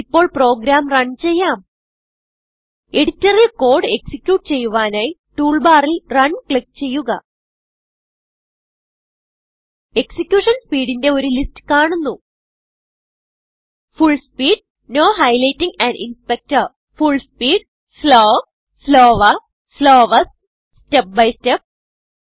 ഇപ്പോൾ program run ചെയ്യാം എഡിറ്ററിൽ കോഡ് എക്സിക്യൂട്ട് ചെയ്യുവാനായി ടൂൾ ബാറിൽrun ക്ലിക്ക് ചെയ്യുക എക്സിക്യൂഷൻ speedന്റെ ഒരു ലിസ്റ്റ് കാണുന്നു full speed full speed slow slower slowest step by step